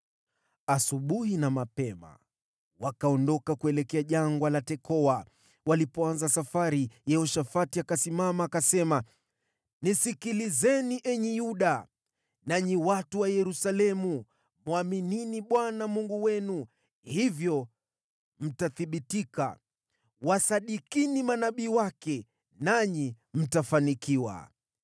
Asubuhi na mapema wakaondoka kuelekea Jangwa la Tekoa. Walipoanza safari, Yehoshafati akasimama akasema, “Nisikilizeni, enyi Yuda, na watu wa Yerusalemu! Mwaminini Bwana Mungu wenu, hivyo mtathibitika, wasadikini manabii wake nanyi mtafanikiwa.